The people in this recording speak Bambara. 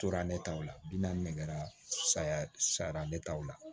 Tora ne taw la bi naani saya sabanan taw la